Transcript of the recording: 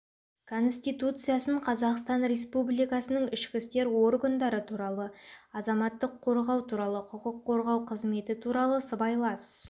конституциясын қазақстан республикасының ішкі істер органдары туралы азаматтық қорғау туралы құқық қорғау қызметі туралы сыбайлас